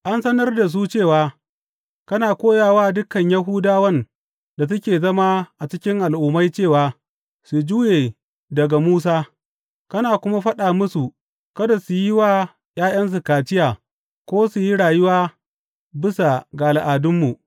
An sanar da su cewa kana koya wa dukan Yahudawan da suke zama a cikin Al’ummai cewa su juye daga Musa, kana kuma faɗa musu kada su yi wa ’ya’yansu kaciya ko su yi rayuwa bisa ga al’adunmu.